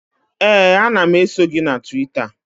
Ee, ana m eso gị na Twita